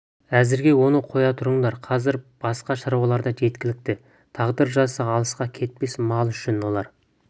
әзірге оны қоя тұрыңдар қазір басқа шаруалар да жеткілікті тағдыр жазса алысқа кетпес мал үшін олар